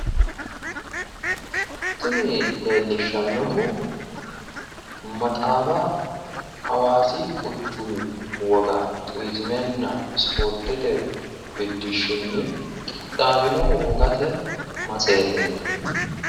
Tini leellishshannohu maxaafa Hawaasi quchumi woga turiizimenna ispoortete biddishshinni qixaawino metseeteeti.